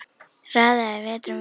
Raðaði vetrum vorum